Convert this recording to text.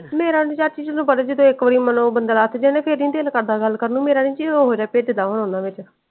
ਮੇਰਾ ਆਂਦੀ ਚਾਚੀ ਚਲੋ ਬੜੇ ਦਿਲੋਂ ਇਕ ਵਾਰ ਬੰਦਾ ਮਨੋ ਲੱਥ ਜਾਇ- ਨਾ ਫੇਰ ਨੀ ਦਿਲ ਕਰਦਾ ਗੱਲ ਕਰਨ ਨੂੰ ਮੇਰਾ ਨਿ ਜਿਵੇਂ ਹੋ ਜਾਏ .